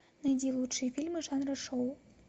найди лучшие фильмы жанра шоу